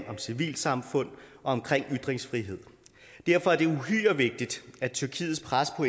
om civilsamfund og omkring ytringsfrihed derfor er det uhyre vigtigt at tyrkiets pres på